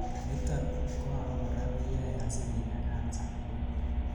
niton koabakora keyoe asikinyaa cancer nebo kinet